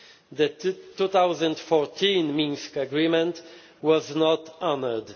The 2014 Minsk Agreement was not honoured.